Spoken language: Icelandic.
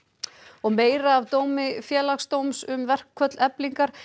og meira af dómi Félagsdóms um verkföll Eflingar